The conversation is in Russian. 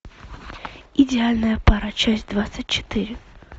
идеальная пара часть двадцать четыре